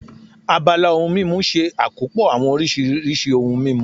Abala ohun mímu ṣe àkópọ̀ àwọn oríṣiríṣi ohun mímu